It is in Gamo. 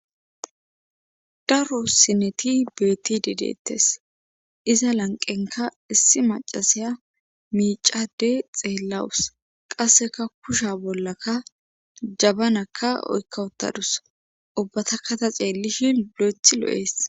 Daro sineti beettidi deettes iza lanqenka issi macasiya miicadey xeellawus qasseka kusha bollaka jabanakka oykka uttadus ubbata kata ceellishin lo7eth lo7ees